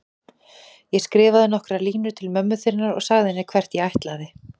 Ég skrifaði nokkrar línur til mömmu þinnar og sagði henni hvert ég ætlaði.